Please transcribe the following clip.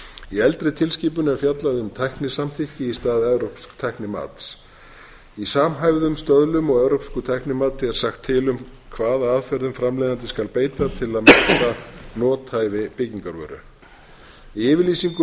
í eldri tilskipun er fjallað um tæknisamþykki í stað evrópsks tæknimats í samhæfðum stöðlum og evrópsku tæknimati er sagt til um hvaða aðferðum framleiðandi skal beita til að meta nothæfi byggingarvöru í yfirlýsingu